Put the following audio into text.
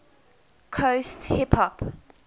coast hip hop